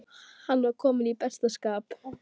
Hann var kominn í besta skap.